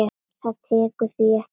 Það tekur því ekki.